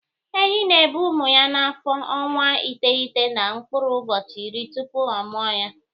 Ehi na-ebu ụmụ ya n'afọ ọnwa iteghete na mkpụrụ ụbọchị iri tupu ọ mụa ha.